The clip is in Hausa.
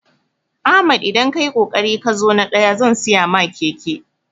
Ahmad idan kayi kokari kazo na ɗaya zan siya ma keke